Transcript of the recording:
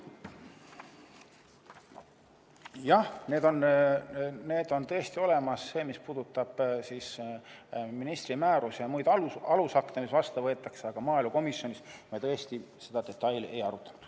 Jah, need on tõesti olemas – see, mis puudutab ministri määrust ja muid alusakte, mis vastu võetakse –, aga maaelukomisjonis me tõesti seda detaili ei arutanud.